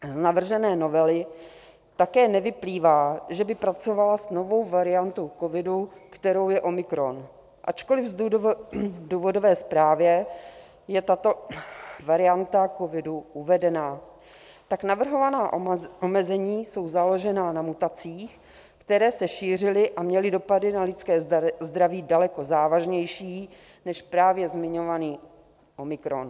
Z navržené novely také nevyplývá, že by pracovala s novou variantu covidu, kterou je omikron, ačkoliv v důvodové zprávě je tato varianta covidu uvedena, tak navrhovaná omezení jsou založena na mutacích, které se šířily a měly dopady na lidské zdraví daleko závažnější než právě zmiňovaný omikron.